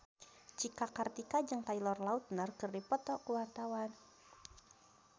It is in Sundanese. Cika Kartika jeung Taylor Lautner keur dipoto ku wartawan